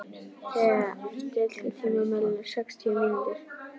Thea, stilltu tímamælinn á sextíu mínútur.